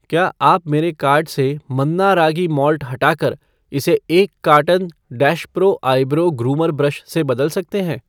क्या आप मेरे कार्ट से मन्ना रागी माल्ट हटाकर इसे एक carton dash pro eyebrow groomer brush से बदल सकते हैं